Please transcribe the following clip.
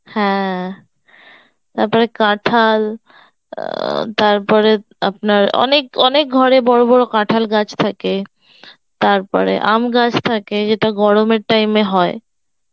হ্যাঁ, তারপরে কাঁঠাল আ তারপরে আপনার অনেক অনেক ঘর এ বড় বড় কাঁঠাল গাছ থাকে, তার পরে আম গাছ থাকে যেটা গরমের time এ হয়